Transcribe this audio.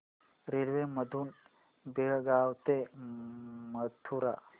railway मधून बेळगाव ते मथुरा